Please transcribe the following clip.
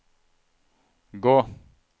gå